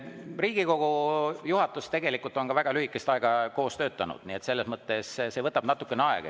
Riigikogu juhatus on tegelikult väga lühikest aega koos töötanud, nii et selles mõttes see võtab natukene aega.